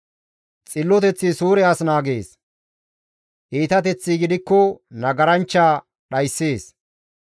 Xilloteththi Suure as naagees; iitateththi gidikko nagaranchcha dhayssees.